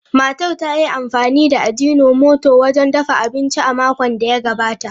Matar ta yi amfani da Agino moto wajen dafa abinci a makon da ya gabata.